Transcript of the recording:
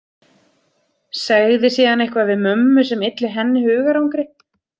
Segði síðan eitthvað við mömmu sem ylli henni hugarangri.